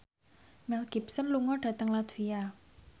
Mel Gibson lunga dhateng latvia